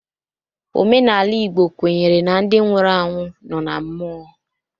Omenala Igbo kwenyere na ndị nwụrụ anwụ nọ na mmụọ.